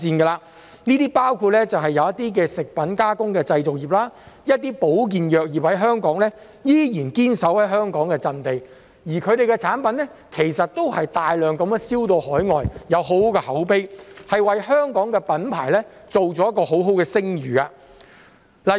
當中包括食品加工製造業，一些香港的保健藥業，它們依然堅守在香港的陣地，而它們的產品其實都是大量外銷到海外，有很好的口碑，為香港的品牌建立一個很好的聲譽。